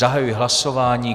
Zahajuji hlasování.